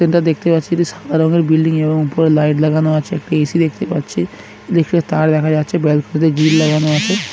এটা দেখতে পাচ্ছি একটি সাদা রঙের বিল্ডিং | এবং উপরে লাইট লাগানো আছে | একটি এ.সি দেখতে পাচ্ছি | তার দেখা যাচ্ছে ব্যালকুনিতে গ্রিল লাগানো আছে ।